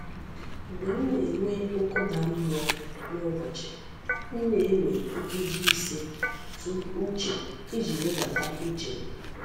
Mgbe m na-enwe nkụda mmụọ n’ụbọchị, m na-ewe nkeji ise tụ uche iji wedata uche m.